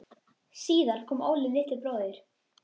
Síðar kom Óli litli bróðir.